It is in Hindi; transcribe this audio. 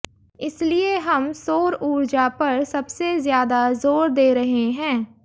इसलिए हम सौर ऊर्जा पर सबसे ज्यादा जोर दे रहे हैं